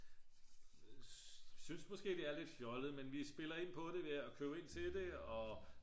synes måske det er lidt fjollet men vi spiller ind på det ved at købe ind til det